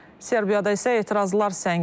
Serbiyada isə etirazlar səngimir.